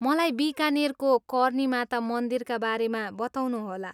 मलाई बिकानेरको कर्नी माता मन्दिरका बारेमा बताउनुहोला।